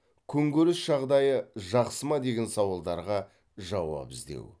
күнкөріс жағдайы жақсы ма деген сауалдарға жауап іздеу